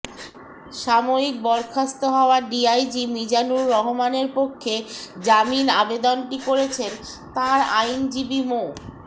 সাময়িক বরখাস্ত হওয়া ডিআইজি মিজানুর রহমানের পক্ষে জামিন আবেদনটি করেছেন তাঁর আইনজীবী মো